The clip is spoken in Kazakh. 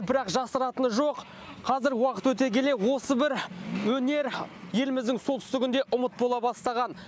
бірақ жасыратыны жоқ қазір уақыт өте келе осы бір өнер еліміздің солтүстігінде ұмыт бола бастаған